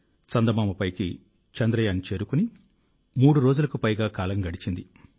చందమామ పైకి చంద్రయాన్ చేరుకుని మూడు రోజులకు పైగా కాలం గడిచింది